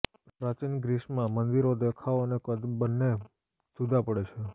પ્રાચીન ગ્રીસમાં મંદિરો દેખાવ અને કદ બંને જુદા પડે છે